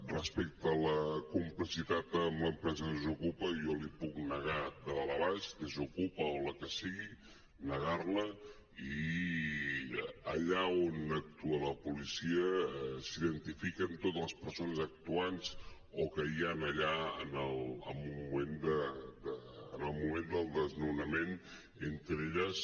respecte a la complicitat amb l’empresa desokupa jo l’hi puc negar de dalt a baix desokupa o la que sigui negar la i allà on actua la policia s’identifiquen totes les persones actuants o que hi ha allà en el moment del desnonament entre elles